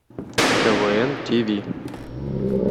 квн тв